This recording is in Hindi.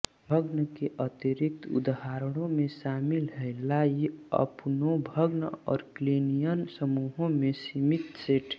भग्न के अतिरिक्त उदाहरणों में शामिल हैं लाइअपुनोव भग्न और क्लीनियन समूहों के सीमित सेट